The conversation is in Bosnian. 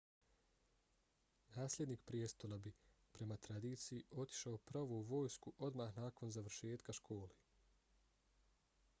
nasljednik prijestola bi prema tradiciji otišao pravo u vojsku odmah nakon završetka škole